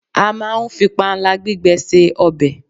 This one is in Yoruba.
a ma n fi panla gbigbe se obe